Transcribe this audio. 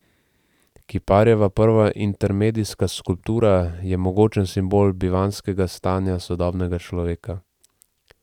Kiparjeva prva intermedijska skulptura je mogočen simbol bivanjskega stanja sodobnega človeka.